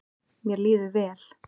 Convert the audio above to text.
Mér líður vel